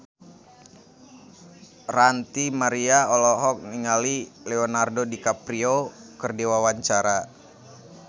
Ranty Maria olohok ningali Leonardo DiCaprio keur diwawancara